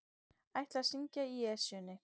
Ætla að syngja í Esjunni